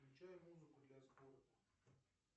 включай музыку для спорта